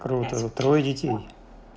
трое детей